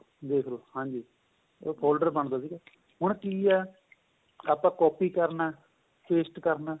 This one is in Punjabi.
ਦੇਖਲੋ ਹਾਂਜੀ ਏਹ folder ਬਣਦਾ ਸੀਗਾ ਹੁਣ ਕਿ ਏ ਆਪਾਂ copy ਕਰਨਾ ਏ paste ਕਰਨਾ ਏ